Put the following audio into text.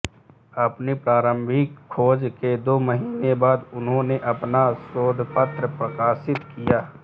अपनी प्रारंभिक खोज के दो महीने बाद उन्होंने अपना शोधपत्र प्रकाशित किया